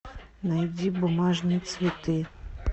найди бумажные цветы